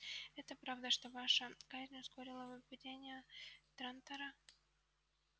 это правда что ваша казнь ускорила бы падение трантора